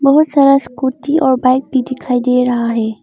बहुत सारा स्कूटी और बाइक भी दिखाई दे रहा है।